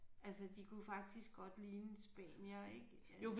Altså de kunne faktisk godt ligne spaniere ik øh